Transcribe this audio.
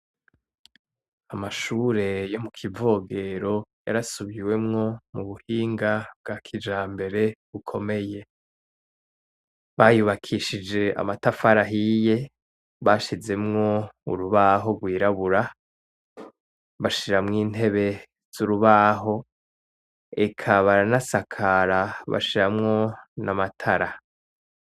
Amashure yo mukivogero yarasubiwemwo mubuhinga bwa kijambere bukomeye, bayubakishije amatafari ahiye bashizemwo urubaho rwirabura, bashiramwo intebe z'urubaho eka baranasakara bashiramwo n'amatara.